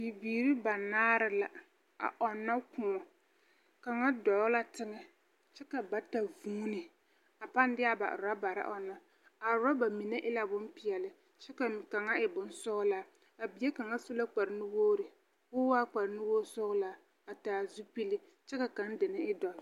Bibiiri banaare la a ɔnnɔ kõɔ kaŋa dɔɔ la teŋɛ kyɛ ka bata vuuni a pãã de a ba orabare ɔnnɔ. A orɔba mine e la bompeɛle kyɛ ka kaŋ e bonsɔgelaa. A bie kaŋa su la kpare nuwogiri ka oa waa kpare nuwogi sɔgelaa a taa zupili kyɛ ka kaŋa deni e doɔre.